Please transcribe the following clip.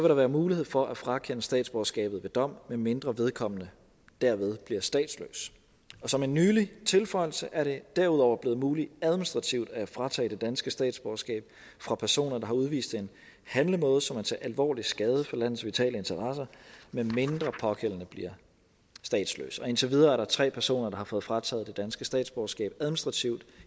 der være mulighed for at frakende statsborgerskabet ved dom medmindre vedkommende derved bliver statsløs og som en nylig tilføjelse er det derudover blevet muligt administrativt at fratage det danske statsborgerskab fra personer der har udvist en handlemåde som er til alvorlig skade for landets vitale interesser medmindre pågældende bliver statsløs indtil videre er der tre personer der har fået frataget det danske statsborgerskab administrativt